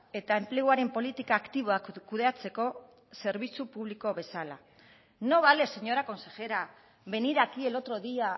eta enpleguaren politika aktiboak kudeatzeko zerbitzu publiko bezala no vale señora consejera venir aquí el otro día